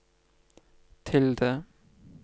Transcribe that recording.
tilde